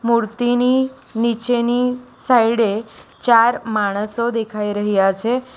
મૂર્તિની નીચેની સાઇડે ચાર માણસો દેખાઈ રહ્યા છે.